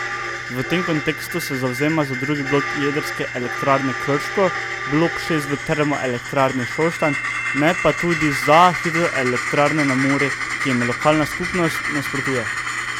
V tem kontekstu se zavzema za drugi blok Jedrske elektrarne Krško, blok šest v Termoelektrarni Šoštanj, ne pa tudi za hidroelektrarne na Muri, ki jim lokalna skupnost nasprotuje.